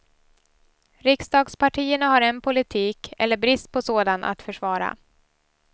Riksdagspartierna har en politik, eller brist på sådan, att försvara.